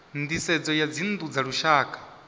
nisedzo ya dzinnu dza lushaka